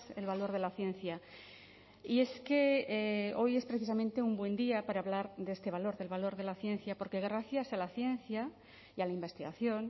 el valor de la ciencia y es que hoy es precisamente un buen día para hablar de este valor del valor de la ciencia porque gracias a la ciencia y a la investigación